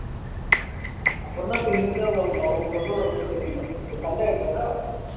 அப்புறம்தான் தெரிஞ்சது அவுங்க வந்து ஒரு தெரியும் எங்க சண்டை ஆயிடுச்சுல